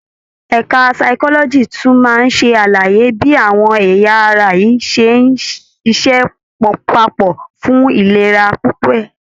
Ẹka physiology tún máa ṣe àlàyé bí àwọn ẹ̀yà ara yìí ṣe ń ṣiṣẹ́ papọ̀ fún ìlera pípé.